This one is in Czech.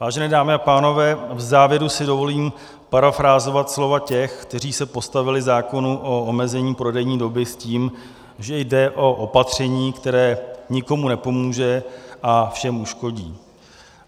Vážené dámy a pánové, v závěru si dovolím parafrázovat slova těch, kteří se postavili zákonu o omezení prodejní doby s tím, že jde o opatření, které nikomu nepomůže a všem uškodí.